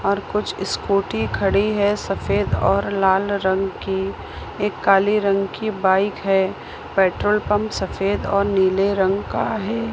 और कुछ स्कूटी खड़ी है सफेद और लाल रंग की एक काले रंग की बाइक है पेट्रोल पंप सफेद और नीले रंग का है।